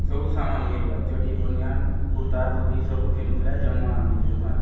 सबु समान मिरुआय चड्डी बानियान कुर्ता धोती सबू घेनुक ला आए जमुआ आमी ये दुकानें --